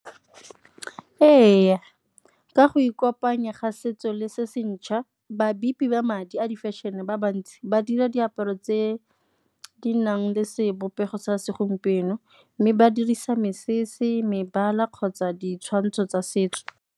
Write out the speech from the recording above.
Ee, ka go ikopanya ga setso le se se ntšha, ba madi a di-fashion-e ba bantsi ba dira diaparo tse di nang le sebopego sa segompieno, mme ba dirisa mesese, mebala kgotsa ditshwantsho tsa setso.